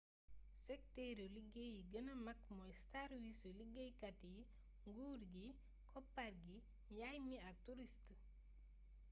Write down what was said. sektëru liggéey yi gëna mag mooy sàrwiisu liggéeykat yi nguur gi koppar gi njaay mi ak turist